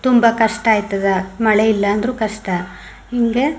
ತುಂಬಾ ಕಷ್ಟ ಆಯ್ತದ್ಮಳೆ ಇಲ್ಲಾಂದ್ರುನು ಕಷ್ಟ ಹಿಂಗೆ .